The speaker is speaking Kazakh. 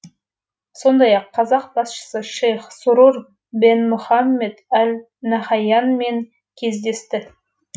сондай ақ қазақ басшысы шейх сурур бен мұхаммед әл нахаянмен кездесті